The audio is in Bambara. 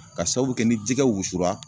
Ka sababu kɛ ni jikɛ wusura